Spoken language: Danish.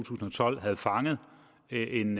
tusind og tolv havde fanget en